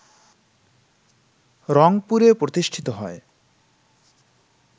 রংপুরে প্রতিষ্ঠিত হয়